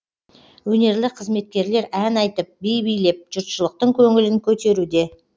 өнерлі қызметкерлер ән айтып би билеп жұртшылықтың көңілін көтеруде